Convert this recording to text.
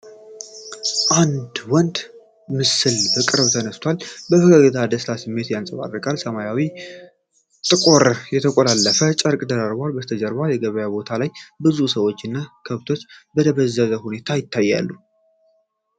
የአንድ ወንድ ምስል በቅርብ ተነስቷል፤ ፈገግታው የደስታ ስሜት ያንጸባርቃል። ሰማያዊና ጥቁር የተቆላለፈ ጨርቅ ደርቧል፤ ከበስተጀርባ በገበያ ቦታ ላይ ብዙ ሰዎች እና ከብቶች በደበዘዘ ሁኔታ ይታያሉ።